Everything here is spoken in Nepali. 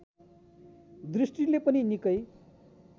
दृष्टिले पनि निकै